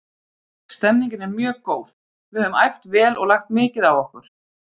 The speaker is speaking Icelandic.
Stemningin er mjög góð, við höfum æft vel og lagt mikið á okkur.